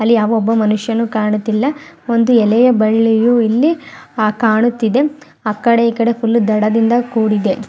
ಅಲ್ಲಿ ಯಾವ ಒಬ್ಬ ಮನುಷ್ಯನು ಕಾಣುತ್ತಿಲ್ಲಾ ಒಂದು ಎಲೆಯ ಬಳ್ಳಿಯು ಇಲ್ಲಿ ಕಾಣುತ್ತಿದೆ ಆಕಡೆ ಈಕಡೆ ಫುಲ್ಲು ದಡದಿಂದ ಕೂಡಿದೆ.